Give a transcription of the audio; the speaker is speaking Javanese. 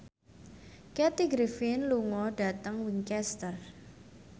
Kathy Griffin lunga dhateng Winchester